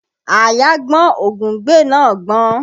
Àáyá gbọ́n ògúngbè náà gbọ́n